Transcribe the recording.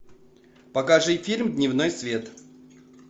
покажи фильм дневной свет